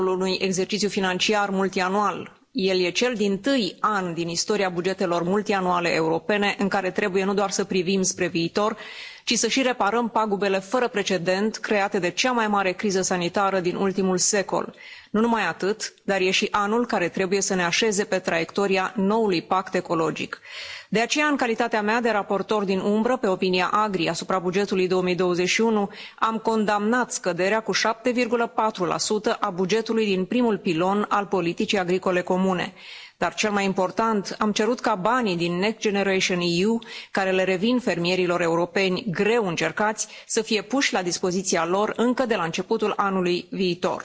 Domnule președinte, anul 2021 nu e un an ca oricare altul. El nu e doar primul an din cadrul unui exercițiu financiar multianual, el e cel dintâi an din istoria bugetelor multianuale europene în care trebuie nu doar să privim spre viitor, ci să și reparăm pagubele fără precedent create de cea mai mare criză sanitară din ultimul secol. Nu numai atât, dar e și anul care trebuie să ne așeze pe traiectoria noului pact ecologic. De aceea, în calitatea mea de raportor din umbră pe opinia AGRI asupra bugetului 2021, am condamnat scăderea cu 7,4 a bugetului din primul pilon al politicii agricole comune. Dar, cel mai important, am cerut ca banii din Next Generation EU care le revin fermierilor europeni greu încercați, să fie puși la dispoziția lor încă de la începutul anului viitor.